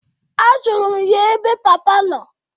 Ajulu m ya ebe papa nọ.